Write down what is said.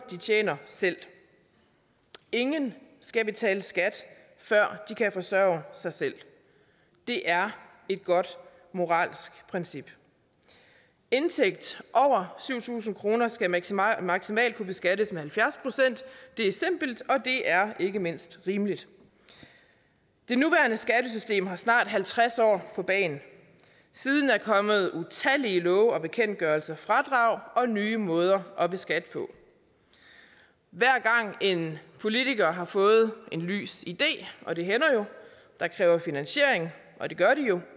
de tjener selv ingen skal betale skat før de kan forsørge sig selv det er et godt moralsk princip indtægt over syv tusind kroner skal maksimalt maksimalt kunne beskattes med halvfjerds procent det er simpelt og det er ikke mindst rimeligt det nuværende skattesystem har snart halvtreds år på bagen siden er der kommet utallige love og bekendtgørelser fradrag og nye måder at beskatte på hver gang en politiker har fået en lys idé og det hænder jo der kræver finansiering og det gør